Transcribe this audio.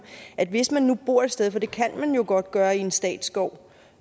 hvis man nu bor et sted for det kan man jo godt gøre i en statsskov